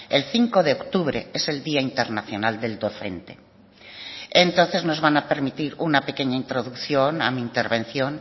el cinco de octubre es el día internacional del docente entonces nos van a permitir una pequeña introducción a mi intervención